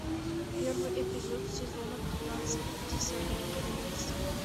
первый эпизод сезона пятнадцать десятое королевство